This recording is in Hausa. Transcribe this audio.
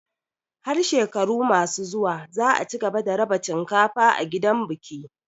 Har shekaru masu zuwa za a cigaba da raba cinkafa a gidan biki.